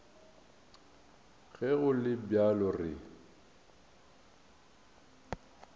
ge go le bjalo re